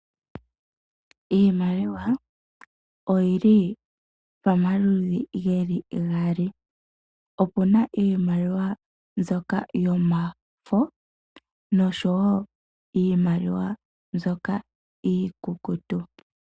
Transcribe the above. Iimaliwa oyi li pamaludhi gaali, opu na iimaliwa mbyoka yomafo osho wo iimaliwa mbyoka iikukutu.